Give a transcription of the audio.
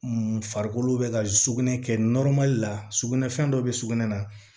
Farikolo bɛ ka sugunɛ kɛ la sugunɛ fɛn dɔ bɛ sugunɛ na